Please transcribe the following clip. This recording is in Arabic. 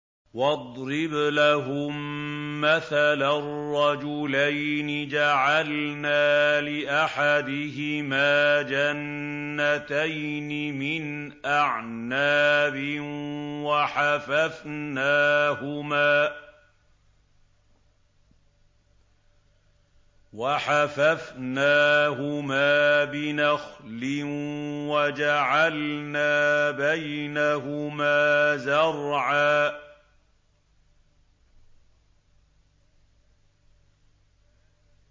۞ وَاضْرِبْ لَهُم مَّثَلًا رَّجُلَيْنِ جَعَلْنَا لِأَحَدِهِمَا جَنَّتَيْنِ مِنْ أَعْنَابٍ وَحَفَفْنَاهُمَا بِنَخْلٍ وَجَعَلْنَا بَيْنَهُمَا زَرْعًا